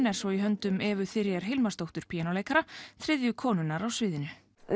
er svo í höndum Evu Hilmarsdóttur píanóleikara þriðju konunnar á sviðinu